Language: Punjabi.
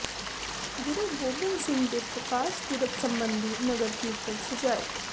ਗੁਰੂ ਗੋਬਿੰਦ ਸਿੰਘ ਦੇ ਪ੍ਰਕਾਸ਼ ਪੁਰਬ ਸਬੰਧੀ ਨਗਰ ਕੀਰਤਨ ਸਜਾਏ